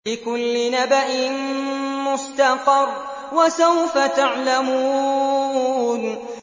لِّكُلِّ نَبَإٍ مُّسْتَقَرٌّ ۚ وَسَوْفَ تَعْلَمُونَ